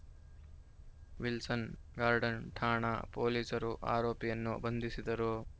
Wilson Garden ಠಾಣಾ ಪೊಲೀಸರು ಆರೋಪಿಯನ್ನು ಬಂಧಿಸಿದರು